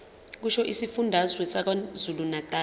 kusho isifundazwe sakwazulunatali